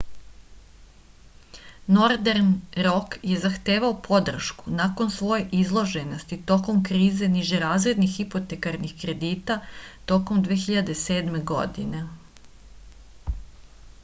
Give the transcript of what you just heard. nordern rok je zahtevao podršku nakon svoje izloženosti tokom krize nižerazrednih hipotekarnih kredita tokom 2007. godine